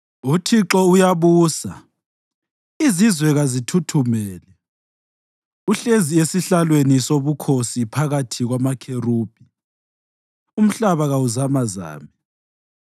UThixo uyabusa, izizwe kazithuthumele; uhlezi esihlalweni sobukhosi phakathi kwamakherubhi, umhlaba kawuzamazame.